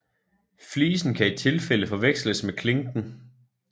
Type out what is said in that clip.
Flisen kan i tilfælde forveksles med klinken